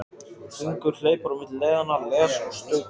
Hringur hleypur á milli leiðanna, les og stautar.